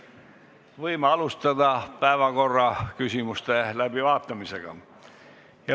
Võime alustada päevakorraküsimuste läbivaatamist.